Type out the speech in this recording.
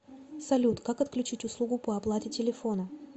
салют как отключить услугу по оплате телефона